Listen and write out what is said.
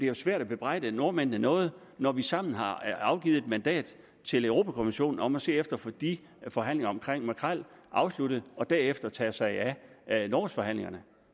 jo svært at bebrejde nordmændene noget når vi sammen har afgivet et mandat til europa kommissionen om at se efter at få de forhandlinger om makrel afsluttet og derefter tage sig af nordsøforhandlingerne